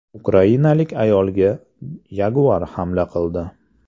Ukrainalik ayolga yaguar hamla qildi.